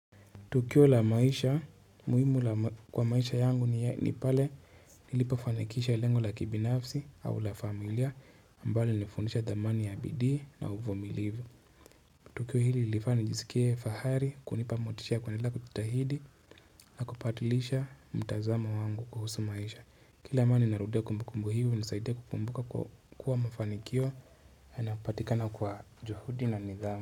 Tukio la maisha muhimu kwa maisha yangu ni pale nilipafanikisha ilengo la kibinafsi au la familia ambalo lilinifundisha thamani ya bidi na uvumilivu tukio hili ilifani nijisikie fahari kunipa motisha kwenila kututahidi na kupatilisha mtazamo wangu kuhusu maisha kila mani narudia kumbukumbu hivyo nisaidia kukumbuka kuwa mafanikio anapatikana kwa juhudi na nidhamu.